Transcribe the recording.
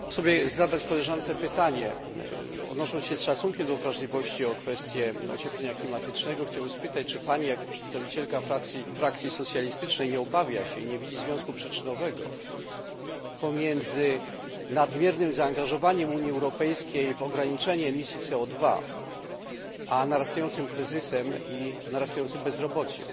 Chciałbym zadać koleżance pytanie, odnosząc się z szacunkiem do wrażliwości w kwestii ocieplenia klimatycznego czy Pani, jako przedstawicielka frakcji socjalistycznej, nie obawia się i nie widzi związku przyczynowego pomiędzy nadmiernym zaangażowaniem Unii Europejskiej w ograniczenie emisji CO a wzrastającym kryzysem i wzrastającym bezrobociem?